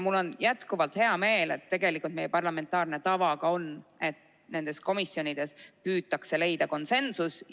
Mul on hea meel, et tegelikult meie parlamentaarne tava on selline, et nendes komisjonides püütakse leida konsensus.